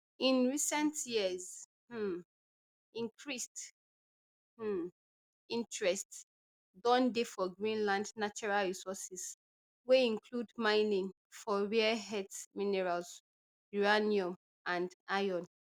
in recent years um increased um interest don dey for greenland natural resources wey include mining for rare earth minerals uranium and iron